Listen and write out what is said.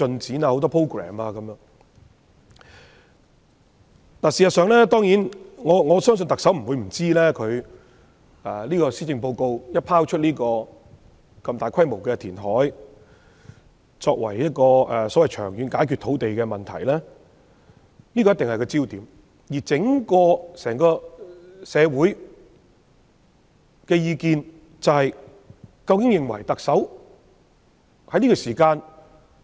事實上，我相信特首不會不知道，她在施政報告內提出如此大規模的填海計劃，作為長遠解決土地問題的方案，這個項目一定會成為焦點。